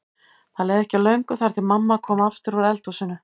Það leið ekki á löngu þar til mamma kom aftur úr eldhúsinu.